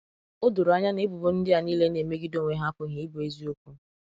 O doro anya na ebubo ndị à nile na-emegide onwe hà apụghị ịbụ èzìokwu.